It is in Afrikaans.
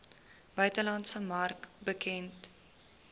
buitelandse mark bekend